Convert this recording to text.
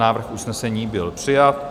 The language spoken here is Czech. Návrh usnesení byl přijat.